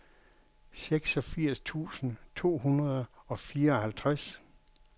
seksogfirs tusind to hundrede og fireoghalvtreds